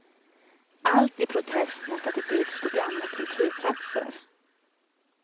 Allt i protest mot att det byggs på gamla kultplatser.